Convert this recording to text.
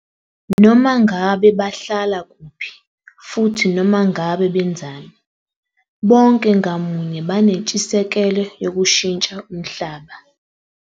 Noma ngabe bahlala kuphi futhi noma ngabe benzani, bonke ngamunye banentshisekelo yokushintsha umhlaba.